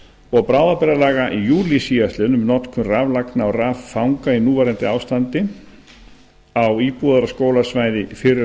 og bráðabirgðalaga í júlí síðastliðnum um notkun raflagna og raffanga í núverandi ástandi á íbúðar og skólasvæði fyrrum